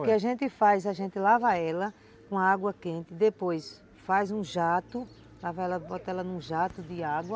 O que a gente faz, a gente lava ela com água quente, depois faz um jato, lava ela, bota ela num jato de água.